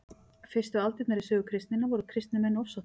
fyrstu aldirnar í sögu kristninnar voru kristnir menn ofsóttir